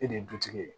E de ye dutigi ye